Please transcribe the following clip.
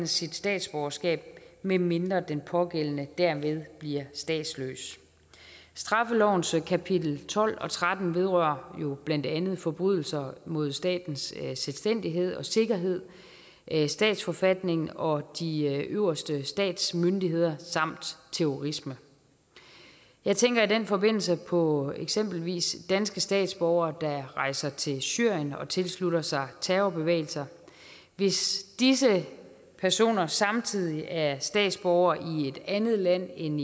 sit statsborgerskab medmindre den pågældende derved bliver statsløs straffelovens kapitel tolv og tretten vedrører jo blandt andet forbrydelser mod statens selvstændighed og sikkerhed statsforfatningen og de øverste statsmyndigheder samt terrorisme jeg tænker i den forbindelse på eksempelvis danske statsborgere der rejser til syrien og tilslutter sig terrorbevægelser hvis disse personer samtidig er statsborgere i et andet land end